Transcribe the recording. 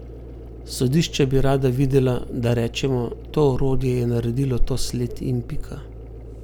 Sodišča bi rada videla, da rečemo, to orodje je naredilo to sled in pika.